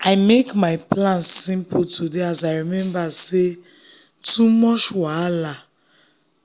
i make my plan simple today as i remember say too much wahala